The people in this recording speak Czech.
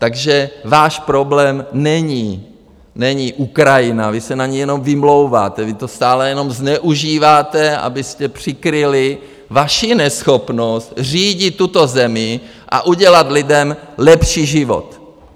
Takže váš problém není Ukrajina, vy se na něj jenom vymlouváte, vy to stále jenom zneužíváte, abyste přikryli vaši neschopnost řídit tuto zemi a udělat lidem lepší život.